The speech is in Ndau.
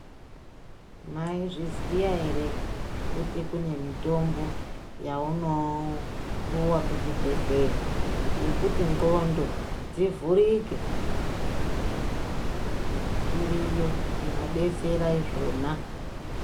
Maizviziva here kuti kune mitombo yaunopuwa kuchibhedhleya yekuti ndxondo dzivhurike, iriyo inodetsera izvona.